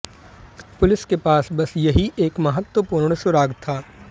police के पास बस यही एक महत्वपुर्ण सुराग था